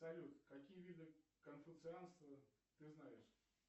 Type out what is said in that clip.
салют какие виды конфуцианства ты знаешь